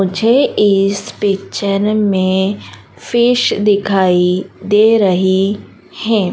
मुझे इस पिक्चर में फिश दिखाई दे रही है।